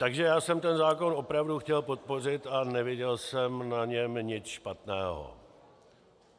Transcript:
Takže já jsem ten zákon opravdu chtěl podpořit a neviděl jsem na něm nic špatného.